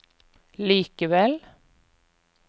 likevel